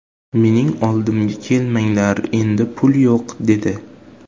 Mening oldimga kelmanglar endi pul yo‘q” dedi.